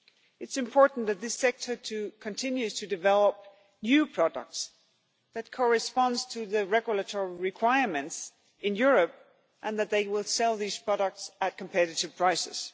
It is important that this sector continues to develop new products that correspond to the regulatory requirements in Europe and that they will sell these products at competitive prices.